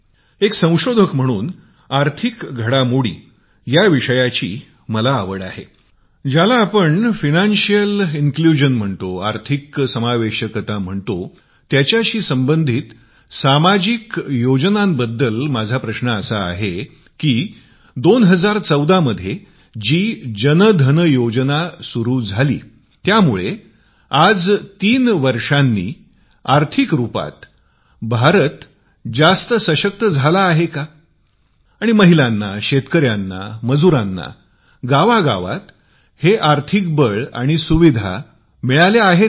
एक संशोधक म्हणून वित्तीय समावेश या विषयात आवड आहे ज्याला आपण वित्तीय अंर्तभूतता म्हणतो त्याच्याशी संबधित सामाजिक योजनांच्या संबंधी माझा प्रश्न आहे की २०१४ मध्ये जी जन धन योजना काढली होती ती आज तीन वर्षांनी आर्थिक रुपात जास्त सशक्त आणि महिलांना शेतकऱ्यांना मजुरांना गावा गावात मिळाली आहे का धन्यवाद